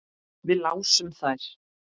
Við lásum þær.